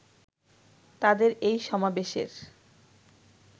তাদের এই সমাবেশের